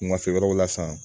Wulafɛ wɛrɛw la san